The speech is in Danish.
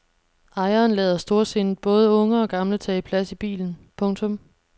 Ejeren lader storsindet både unge og gamle tage plads i bilen. punktum